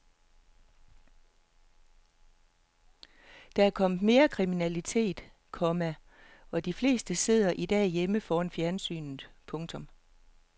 Der er kommet mere kriminalitet, komma og de fleste sidder i dag hjemme foran fjernsynet. punktum